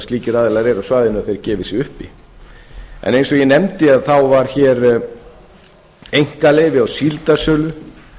slíkir aðilar eru á svæðinu að þeir gefi sig upp eins og ég nefndi þá var hér einkaleyfi á síldarsölu